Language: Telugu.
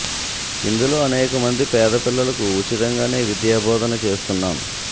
ఇందులో అనేక మంది పేద పిల్లలకు ఉచితంగానే విద్యా బోధన చేస్తున్నాం